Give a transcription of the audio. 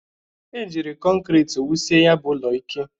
E jiri kọnkri wusie ya bụ ụlọ ike.